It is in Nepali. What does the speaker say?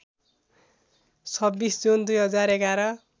२६ जुन २०११